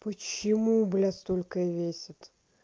почему блядь столько весит